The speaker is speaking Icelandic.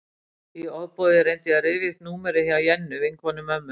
Í ofboði reyndi ég að rifja upp númerið hjá Jennu, vinkonu mömmu.